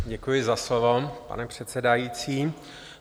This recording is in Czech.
Děkuji za slovo, pane předsedající.